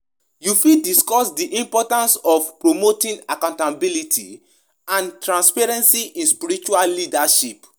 Wetin you think about di influence of spiritual authority on personal decisions, like marriage and career?